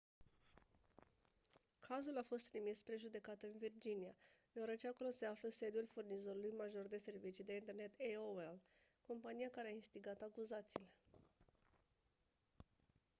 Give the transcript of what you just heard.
cazul a fost trimis spre judecată în virginia deoarece acolo se află sediul furnizorului major de servicii de internet aol compania care a instigat acuzațiile